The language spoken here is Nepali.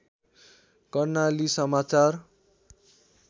कर्णाली समाचार